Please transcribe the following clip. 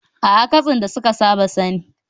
A'a, katsin da kuka saba sani